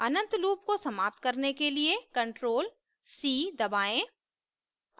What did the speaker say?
अनंत loop को समाप्त करने के लिए ctrl+c दबाएं